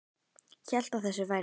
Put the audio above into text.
Hélt að þessu væri lokið.